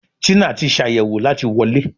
Tina tí Ṣàyẹ̀wò láti wọlé.